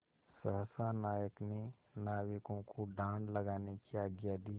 सहसा नायक ने नाविकों को डाँड लगाने की आज्ञा दी